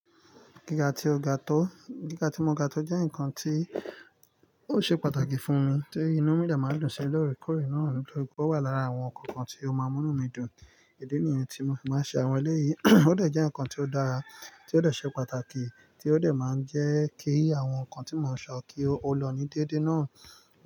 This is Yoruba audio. Gíga tí o gátọ́, gíga tí mo gátọ́ jẹ́ ǹkan tí ó ṣé pàtàkì fún mi tí inú mi dé máa ń dùn sí lọ́ọ̀rẹ́ kórẹ́ náà lọ. Ó wà lára àwọn ǹkan kan tí ó máa ń mú mí dùn. Idi nìyẹn tí mo fi máa ń ṣe àwọn eléyìí. Ó dẹ̀ jẹ́ ǹkan tí ó dára, tí ó dẹ̀ ṣe pàtàkì, tí ó dẹ̀ máa ń jẹ́ kí àwọn ǹkan tí mò ń sọ kí ó lọ ní déédéé náà.